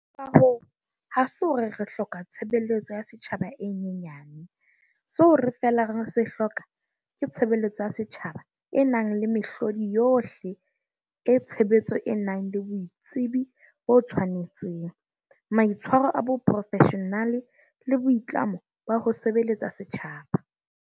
Ka hoo, ha se hore re hloka tshe beletso ya setjhaba e nyenya ne- seo re feela re se hloka ke tshebeletso ya setjhaba e nang le mehlodi yohle e tshe betso e nang le boitsebi bo tshwanetseng, maitshwaro a boprofeshenale le boitlamo ba ho sebeletsa setjhaba.